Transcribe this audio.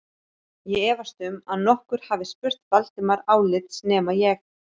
Ég efast um að nokkur hafi spurt Valdimar álits nema ég